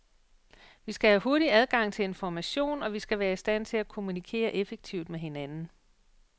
Vi skal have hurtig adgang til information, og vi skal være i stand til at kommunikere effektivt med hinanden.